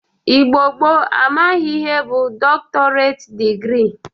Igbo gboo amaghịrị ihe bụ dọktọreit dịgrị